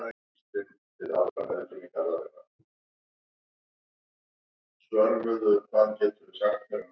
Hásteinsvöllur í Vestmannaeyjum lítur sérstaklega illa út þessa stundina eftir rigningu síðustu daga.